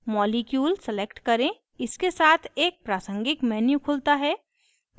molecule select करें; इसके साथ एक प्रासंगिक menu खुलता है